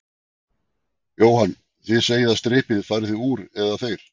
Jóhann: Þið segið að þið strippið, farið þið úr, eða þeir?